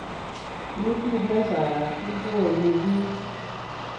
Kutit nee saat koimi piich